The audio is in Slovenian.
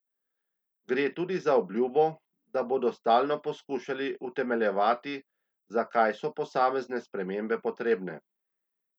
Gre tudi za obljubo, da bodo stalno poskušali utemeljevati, zakaj so posamezne spremembe potrebne.